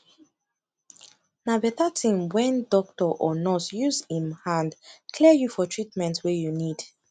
na beta thin wen doctor or nurse use em hand clear you for treatment wey you need